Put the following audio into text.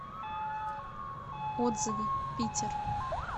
отзывы питер